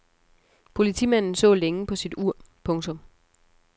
Politimanden så længe på sit ur. punktum